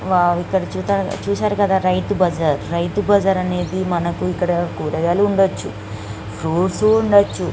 ఇక్కడ చూసారు కదా ఇది రైతు బజార్ . మనకి రైతు బజార్ అనేది మనకి ఇక్కడ కురగాయల్లు వుండచు ఫ్రూప్ట్స్ వుండచు.